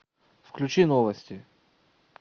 включи новости